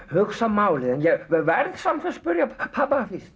hugsa málið en ég verð samt að spyrja pabba fyrst